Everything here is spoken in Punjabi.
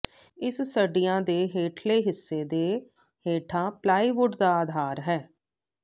ਇਸ ਸਢ੍ਹਿਆਂ ਦੇ ਹੇਠਲੇ ਹਿੱਸੇ ਦੇ ਹੇਠਾਂ ਪਲਾਈਵੁੱਡ ਦਾ ਆਧਾਰ ਹੈ